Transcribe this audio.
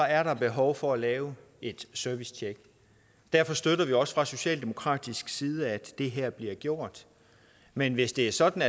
er der behov for at lave et servicetjek derfor støtter vi også fra socialdemokratisk side at det her bliver gjort men hvis det er sådan